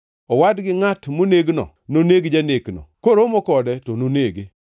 Owad gi ngʼat monegno noneg janekno; koromo kode to nonege.